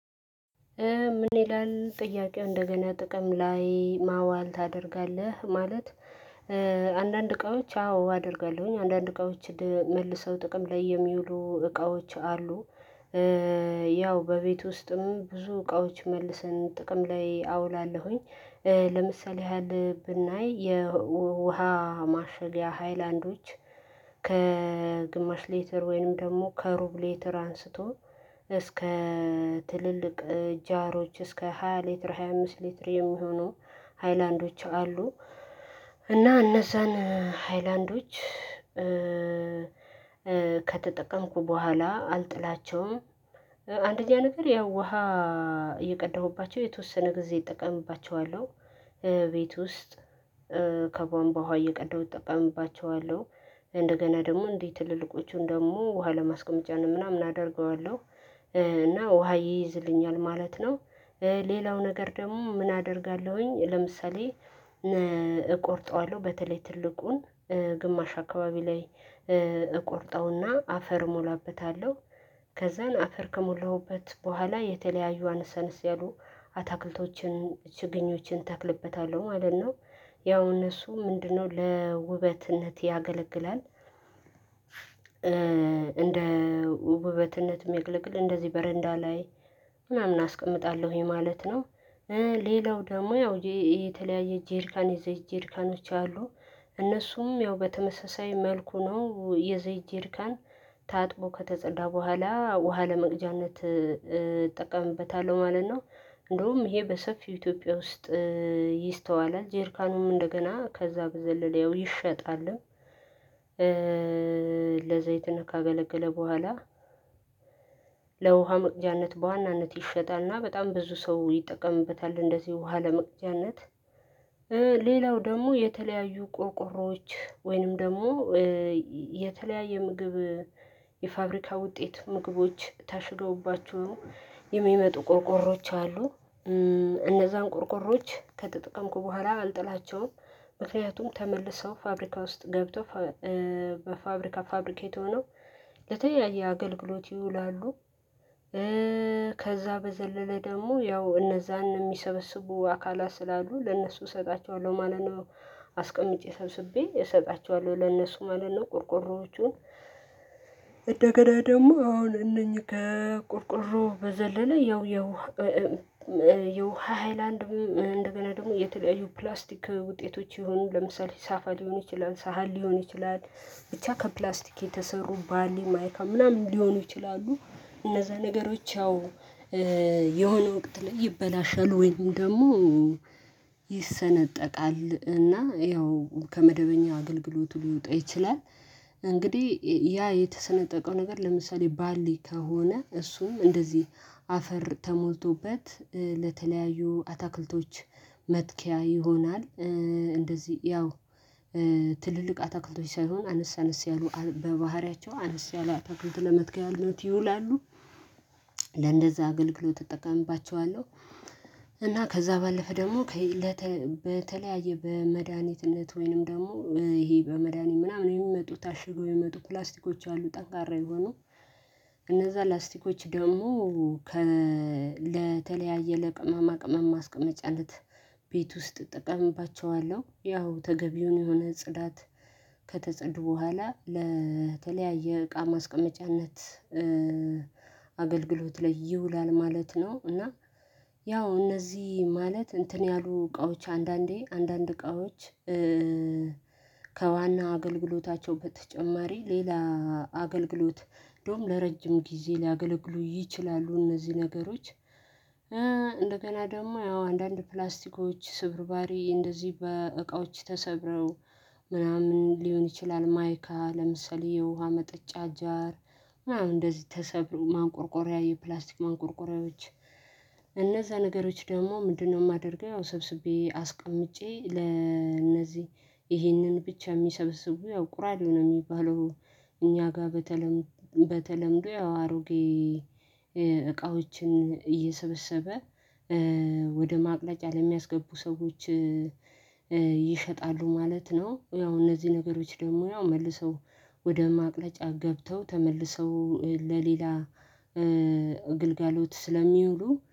ምን ይላል ጥያቄው እንደገና ጥቅም ላይ ማዋል ታደርጋለህ? ማለት እቃዎች አዎ አደርጋለሁኝ አንዳንድ እቃዎችን መልሰው ጥቅም የሚውሉ እቃዎች አሉ። ያው በቤት ውስጥም ብዙ እቃዎች መልሰን ጥቅም ላይ አውላለሁኝ። ለምሳሌ ያህል ብናይ የውሃ ማሸጊያ ሃይላንዶች ከግማሽ ሌትር ወይም ደግሞ ከሩብ ሌትር አንስቶ እስከ ትልልቅ ጃሮች እስከ ሃያ ሊትር ሃያ አምስት ሊትር የሚሆኑ ሃይላንዶች አሉ። እና እነዛን ሃይላንዶች ከተጠቀምኩ በኋላ አልጥላቸውም። አንደኛ ነገር ያው ውሃ እየቀዳሁባቸው የተወሰነ ጊዜ እጠቀምባቸዋለሁ። ቤት ውስጥ ከቧንቧ ውሃ እየቀዳው እጠቀምባቸዋለሁ። እንደገና ደግሞ እንዲህ ትልልቆቹን ደግሞ ውሃ ለማስቀመጫ ምናምን አደርገዋለሁ። እና ውሃ ይይዝልኛል ማለት ነው። ሌላው ነገር ደግሞ ምን አደርጋለሁኝ? ለምሳሌ እቆርጠዋለሁ በተለይ ትልቁን ግማሽ አካባቢ ላይ እቆርጠውና አፈር እሞላበታለሁ። ከዛን አፈር ከሞላሁበት በኋላ የተለያዩ አነስ አነስ ያሉ አታክልቶችን ችግኞችን እተክልበታለሁ ማለት ነው። ያው እነሱ ምንድነው ለውበትነት ያገለግላል። እንደ ውበትነት የሚገለግል እንደዚህ በረንዳ ላይ ምናምን አስቀምጣለሁኝ ማለት ነው። ሌላው ደግሞ ያው የተለያየ ጄሪካን የዘይት ጄሪካኖች አሉ። እነሱም ያው በተመሳሳይ መልኩ ነው የዘይት ጄሪካን ታጥቦ ከተጸዳ በኋላ ውሃ ለመቅጃነት እጠቀምበታለሁ ማለት ነው። እንደውም ይሄ በሰፊው ኢትዮጵያ ውስጥ ይስተዋላል ጄሪካኑም እንደገና ከዛ በዘለለ ይሸጣልም። ለዘይትነት ካገለገለ በኋላ ለውሃ መቅጃነት በዋናነት ይሸጣልና በጣም ብዙ ሰው ይጠቀምበታል እንደዚህ ውሃ ለመቅጃነት። ሌላው ደግሞ የተለያዩ ቆርቆሮዎች ወይንም ደግሞ የተለያየ ምግብ የፋብሪካ ውጤት ምግቦች ታሽገውባቸው የሚመጡ ቆርቆሮዎች አሉ። እነዛን ቆርቆሮዎች ከተጠቀምኩ በኋላ አልጥላቸውም። ምክንያቱም ተመልሰው ፋብሪካ ውስጥ ገብተው በፋብሪካ ፋብሪኬት ሆኖ ለተያየ አገልግሎት ይውላሉ። ከዛ በዘለለ ደግሞ ያው እነዛን የሚሰበስቡ አካላ ስላሉ ለእነሱ እሰጣቸዋለሁ ማለት ነው። አስቀምጬ ሰብስቤ እሰጣቸዋለሁ ለነሱ ማለት ነው። ቆርቆሮዎቹን እንደገና ደግሞ አሁን እነኚህ ቆርቆሮ በዘለለ ያው ያው የውሃ ሃይላንድ እንደገና ደግሞ የተለያዩ ፕላስቲክ ውጤቶች የሆኑ ለምሳሌ ሳፋ ሊሆን ይችላል ሳህል ሊሆን ይችላል ብቻ ከፕላስቲክ የተሰሩ ባሌ ማይካ ምናምን ሊሆኑ ይችላሉ። እነዛ ነገሮች ያው የሆነ ወቅት ላይ ይበላሻሉ ወይም ደግሞ ይሰነጠቃል እና ያው ከመደበኛ አገልግሎት ሊወጣ ይችላል። እንግዲህ ያ የተሰነጠቀው ነገር ለምሳሌ ባሊ ከሆነ እሱም እንደዚህ አፈር ተሞልቶበት ለተለያዩ አታክልቶች መትከያ ይሆናል። እንደዚህ ያው ትልልቅ አታክልቶች ሳይሆን አነስ አነስ ያሉ በባህሪያቸው አነስ ያለ አታክልት ለመትከያነት ይውላሉ። ለእንደዛ አገልግሎት እጠቀምባቸዋለሁ። እና ከዛ ባለፈ ደግሞ በተለያየ በመድሃኒትነት ወይንም ደግሞ ይሄ በመድኃኒት ምናምን የሚመጡ ታሽጎ የሚመጡ ፕላስቲኮች አሉ ጠንካራ የሆኑ እነዛ ላስቲኮች ደግሞ ለተለያየ ለቅመማ ቅመማ ማስቀመጫለነት ቤት ውስጥ እጠቀምባቸዋለሁ ያው ተገቢውን የሆነ ጽዳት ከተጸዱ በኋላ ለተለያየ እቃ ማስቀመጫነት አገልግሎት ላይ ይውላል ማለት ነው። እና ያው እነዚህ ማለት እንትን ያሉ እቃዎች አንዳንዴ አንዳንድ እቃዎች ከዋና አገልግሎታቸው በተጨማሪ ሌላ አገልግሎት እንደውም ለረጅም ጊዜ ሊያገለግሉ ይችላሉ እነዚህ ነገሮች። እንደገና ደግሞ ያው አንዳንድ ፕላስቲኮች ስብርባሪ እንደዚህ በእቃዎች ተሰብረው ምናምን ሊሆን ይችላል። ማይካ ለምሰሌ የውሃ መጠጫ አጃር እንደዚህ ተሰብሮ ማንቆርቆሪያ የፕላስቲክ ማንቆርቆሪያዎች እነዛ ነገሮች ደግሞ ምንድነው የማደርገው ያው ሰብስቤ አስቀምጬ ለእነዚህ ይህንን ብቻ የሚሰበስቡ ያው ቁራሌው ነው የሚባለው። እኛ ጋር በተለምዶ በተለምዶ ያው አሮጌ እቃዎችን እየሰበሰበ ወደ ማቅለጫ ለሚያስገቡ ሰዎች ይሸጣሉ ማለት ነው። ያው እነዚህ ነገሮች ደግሞ ያው መልሰው ወደ ማቅለጫ ገብተው ተመልሰው ለሌላ ግልጋሎት ስለሚውሉ